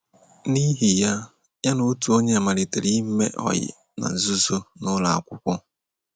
N’ihi ya, ya na otu onye malitere ime ọyị na nzuzo n’ụlọakwụkwọ.